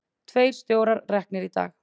Tveir stjórar reknir í dag